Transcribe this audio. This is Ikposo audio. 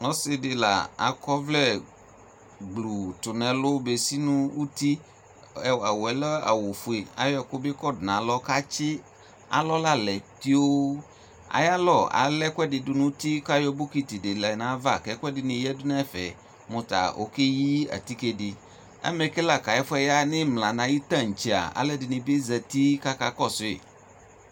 Ɔsi di la akɔ ɔvlɛ gblʋ tʋ nʋ ɛlʋ besi nʋ uti Awʋ yɛ lɛ awʋ fue Ayɔ ɛkʋ bi kɔdʋ nalɔ kʋ atsi alɔ la lɛ tioo Ayalɔ ala ɛkuɛdini dʋ nʋ uti kʋ ayɔ bokiti di lɛ nʋ ayava kʋ ɛkuɛdini yadʋ nɛfɛ mʋta okeyi atike di Amɛke la kʋ ayɛfuɛ ya nʋ imla, nʋ ayu tantse a, alʋ ɛdini bi zati kʋ akakɔsʋ yi